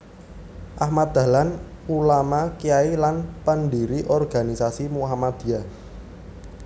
Ahmad Dahlan Ulama Kyai lan pendiri organisasi Muhammadiyah